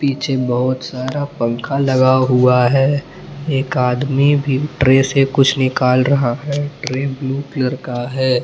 पीछे बहुत सारा पंख लगा हुआ है एक आदमी भी ट्रे से कुछ निकल रहा है ट्रे ब्लू कलर का है।